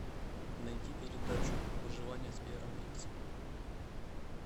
найти передачу выживание с беаром гриллсом